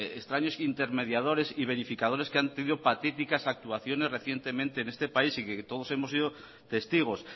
extraños intermediadores y verificadores que han tenido patéticas actuaciones recientemente en este país y que todos hemos sido testigos